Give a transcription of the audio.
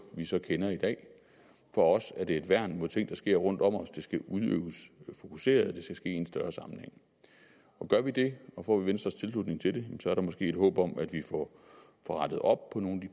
vi så kender i dag for os er det et værn mod ting der sker rundt om os det skal udøves fokuseret og det skal ske i en større sammenhæng gør vi det og får vi venstres tilslutning til det så er der måske et håb om at vi får rettet op på nogle af